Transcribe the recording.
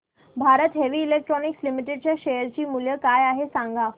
Bharat heavy electricals limited च्या share चे मूल्य काय आहे सांगा